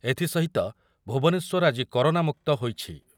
ଏଥିସହିତ ଭୁବନେଶ୍ୱର ଆଜି କରୋନା ମୁକ୍ତ ହୋଇଛି।